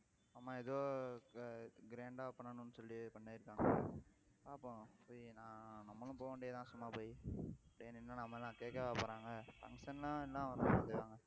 ஆமா ஏதோ grand ஆ பண்ணணும்னு சொல்லி பண்ணியிருக்காங்க பாப்போம் போய் நான் நம்மளும் போக வேண்டியதுதான் சும்மா போய், போய் நின்னா நம்ம என்ன கேக்கவா போறாங்க function ன்னா எல்லாம் வரத்தான் செய்வாங்க